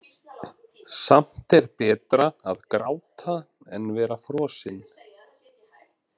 Samt er betra að gráta en vera frosinn.